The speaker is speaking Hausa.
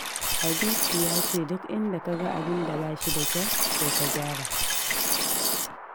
Hadisi ya ce duk inda ka ga abin da ba shi da kyau to ka gyara.